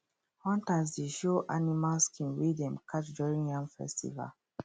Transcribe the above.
hunters dey show animal skin wey dem catch during yam festival